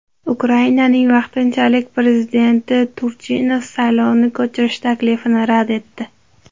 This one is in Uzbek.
Ukrainaning vaqtinchalik prezidenti Turchinov saylovni ko‘chirish taklifini rad etdi.